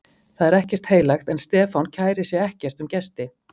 Það er ekkert heilagt, en Stefán kærir sig ekkert um gesti